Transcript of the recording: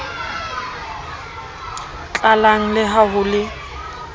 tlalang le ha ho le